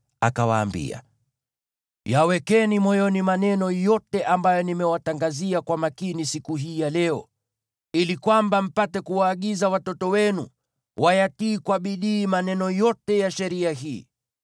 akawaambia, “Yawekeni moyoni maneno yote ambayo nimewatangazia kwa makini siku hii ya leo, ili kwamba mpate kuwaagiza watoto wenu wayatii kwa bidii maneno yote ya sheria hii.